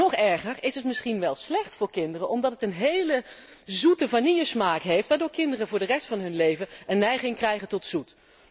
Of nog erger misschien is het wel slecht voor kinderen omdat het een heel zoete vanillesmaak heeft, waardoor kinderen voor de rest van hun leven een neiging krijgen tot zoet?